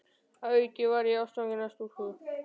Að auki varð ég ástfanginn af stúlku.